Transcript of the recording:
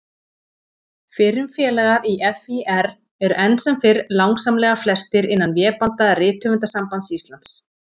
Fyrrum félagar í FÍR eru enn sem fyrr langsamlega flestir innan vébanda Rithöfundasambands Íslands.